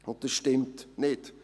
» Das stimmt nicht.